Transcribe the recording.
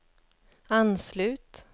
anslut